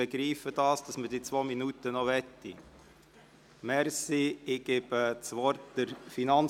Ich begreife, dass Sie diese zwei Minuten haben wollen.